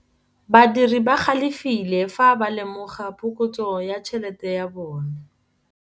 Badiri ba galefile fa ba lemoga phokotsô ya tšhelête ya bone.